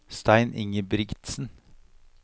Stein Ingebrigtsen